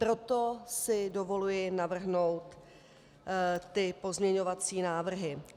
Proto si dovoluji navrhnout ty pozměňovací návrhy.